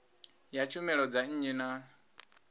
ya tshumelo dza nnyi na